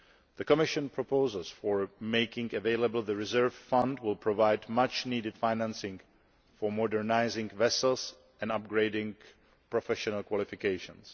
The Commission proposals for making available the reserve fund will provide much needed financing for modernising vessels and upgrading professional qualifications.